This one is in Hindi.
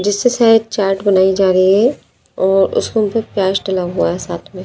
जिससे शायद चाट बनाई जा रही है और उसके ऊपर प्याज डला हुआ है साथ में।